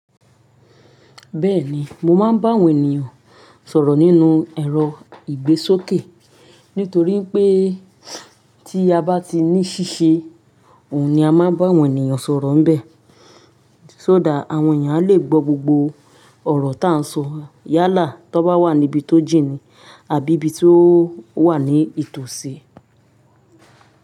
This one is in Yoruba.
Bẹ́ẹ̀ni, mo máa ń bá àwọn ènìyàn sọ̀rọ̀ nínú ẹ̀rọ ìgbésókè, nítorí pé tí a bá ti ní ṣíṣe, òun ni a máa ń bá àwọn ènìyàn sọ̀rọ̀ níbẹ̀. Só dá àwọn ènìyàn a lè gbọ́ gbogbo ọ̀rọ̀ táń sọ yálà to bá wà níbi tó jìn nì àbí ibi tí ó wà ní ìtòsí.